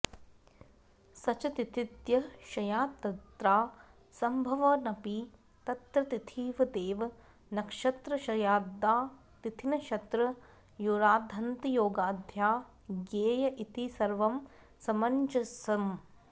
सच तिथिद्वयक्षयात्तत्रासंभवन्नपि तत्र तिथिवदेव नक्षत्रक्षयाद्वा तिथिनक्षत्रयोराद्यन्तयोगाद्वा ज्ञेय इति सर्वं समञ्जसम्